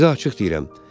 Sizə açıq deyirəm.